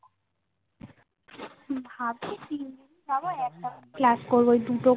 ভাবছি তিনদিন যাবো একটা বা দুটো Class করবো ওই দুটো